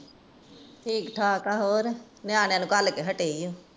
ਠੀਕ-ਠਾਕ ਹੈ ਹੋਰ ਨਿਆਣਿਆਂ ਨੂੰ ਘਲ ਕੇ ਹਟੀ ਹਾਂ